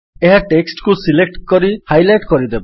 ଏହା ଟେକ୍ସଟ୍ କୁ ସିଲେକ୍ଟ କରି ହାଇଲାଇଟ୍ କରିଦେବ